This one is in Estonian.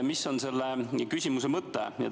Mis on selle küsimuse mõte?